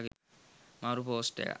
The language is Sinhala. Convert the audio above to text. මරු පෝස්ට් එකක්